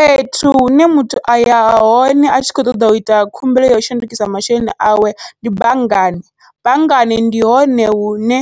Fhethu hune muthu aya hone atshi kho ṱoḓa uita khumbelo yau shandukisa masheleni awe ndi banngani, banngani ndi hone hune